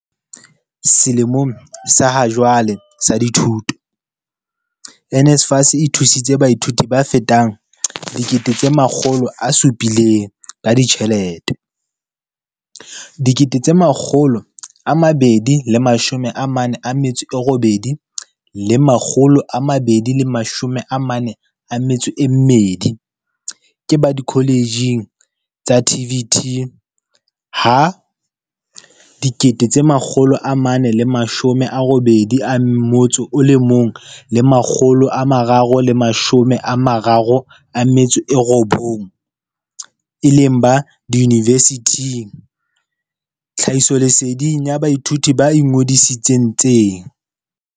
Selemong sa hajwale sa dithuto, NSFAS e thusitse baithuti ba fetang 700 000 ka ditjhelete, 248 242 ke ba dikoletjheng tsa TVET ha 481 339 e le ba diyunibesithing tlhahisoleseding ya baithuti ba ingodisi tseng.